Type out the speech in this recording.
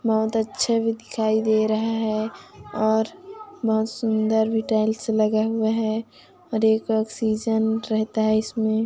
बहुत अच्छे भी दिखाई दे रहै है और बहुत सुंदर भी टाइल्स लगे हुए है रेहता है इसमें--